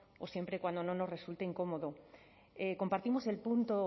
o siempre cuando no nos resulte incómodo compartimos el punto